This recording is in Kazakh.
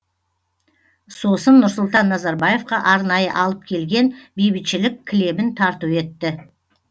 сосын нұрсұлтан назарбаевқа арнайы алып келген бейбітшілік кілемін тарту етті